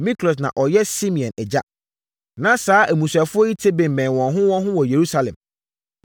Miklot na ɔyɛ Simeam agya. Na saa mmusuafoɔ yi tete bemmɛn wɔn ho wɔn ho wɔ Yerusalem.